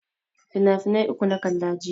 Finafinai uku na kalla jiya.